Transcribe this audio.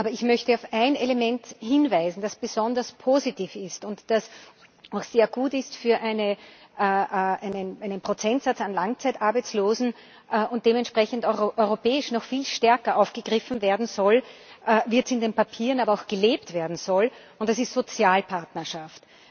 Aber ich möchte auf ein Element hinweisen, das besonders positiv ist und das auch sehr gut ist für einen Prozentsatz an Langzeitarbeitslosen, und dementsprechend europäisch noch viel stärker aufgegriffen werden soll, in den Papieren aber auch gelebt werden soll und das ist Sozialpartnerschaft.